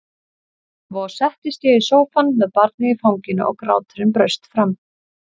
Svo settist ég í sófann með barnið í fanginu og gráturinn braust fram.